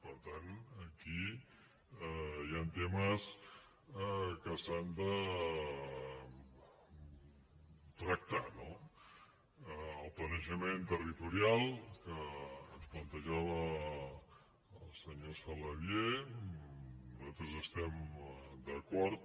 per tant aquí hi han temes que s’han de tractar no el planejament territorial que ens plantejava el senyor saladié nosaltres hi estem d’acord